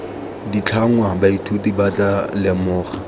ditlhangwa baithuti ba tla lemoga